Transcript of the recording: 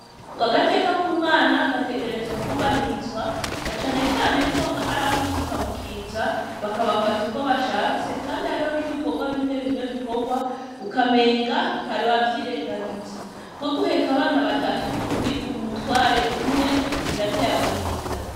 Ko agateka k'umwana gategerezwa kubahirizwa na canecaneko aho arabo ikikamukiza bakabafata uko bashatse, kandi ariho n'ibikorwa bimwe bimwe bikorwa ukamenga hari wavyirengagiza nko guheka abana batatu uri umutware umwe birateye agahinda.